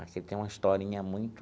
Aqui tem uma historinha muito...